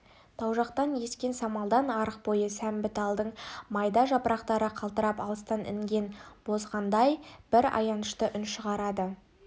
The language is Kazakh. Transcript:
тау жақтан ескен самалдан арық бойы сәмбі талдың майда жапырақтары қалтырап алыстан інген боздағандай бір аянышты үн шығарды